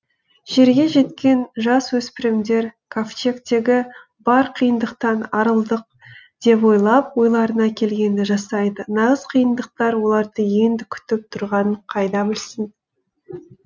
жерге жеткен жасөспірмдер кавчегтегі бар қиыныдқтан арылдық деп ойлап ойларына келгенді жасайды нағыз қиыныдқтар оларды енді күтіп тұрғанын қайдан білсін